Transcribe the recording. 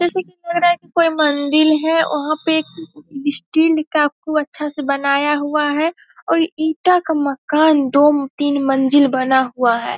जैसे की लग रहा की कोई मंदील है वहाँ पे एक स्टील का खूब अच्छा से बनाया हुआ है और ईटा का मकान दो-तीन मंजिल बना हुआ है।